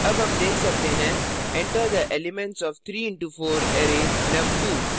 अब हम देख सकते हैं enter the elements of 3 into 4 array num2